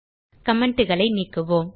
commentகளை நீக்குவோம்